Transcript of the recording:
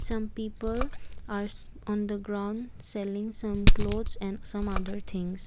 some people are shi on the ground selling some clothes and some other things.